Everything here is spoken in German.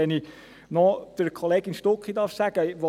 Wenn ich noch zu Kollegin Stucki etwas sagen darf: